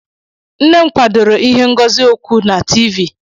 Nne m kwadoro ihe ngosi okwu na Tiivii.